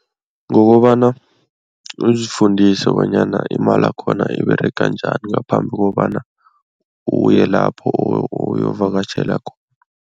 Ngokobana uzifundise bonyana imalakhona iberega njani ngaphambi kobana uye lapho uyovakatjhela khona.